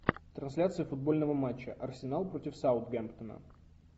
трансляция футбольного матча арсенал против саутгемптона